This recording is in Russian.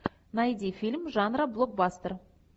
найди фильм жанра блокбастер